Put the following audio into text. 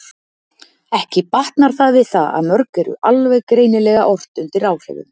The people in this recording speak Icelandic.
Ekki batnar það við það að mörg eru alveg greinilega ort undir áhrifum.